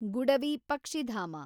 ಗುಡವಿ ಪಕ್ಷಿಧಾಮ